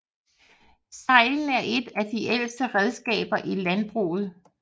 Seglen er et af de ældste redskaber i landbruget